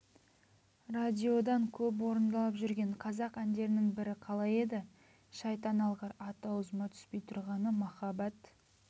радиодан көп орындалып жүрген қазақ әндерінің бірі қалай еді шайтан алғыр аты аузыма түспей тұрғаны махаббат